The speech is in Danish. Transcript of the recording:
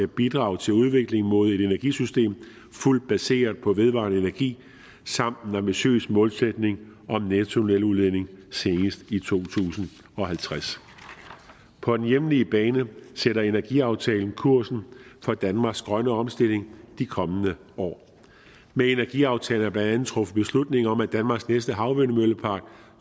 bidrag til udvikling mod et energisystem fuldt baseret på vedvarende energi samt en ambitiøs målsætning om nettonuludledning senest i to tusind og halvtreds på den hjemlige bane sætter energiaftalen kursen for danmarks grønne omstilling i de kommende år med energiaftalen blandt andet truffet beslutning om danmarks næste havvindmøllepark